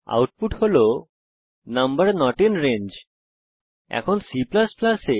output number not in range হিসাবে প্রদর্শিত হয়েছে